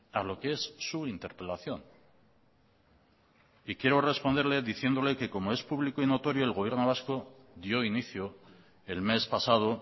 a lo que es su interpelación quiero responderle diciéndole que como es público y notorio el gobierno vasco yo inicio el mes pasado